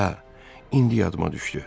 Hə, indi yadıma düşdü.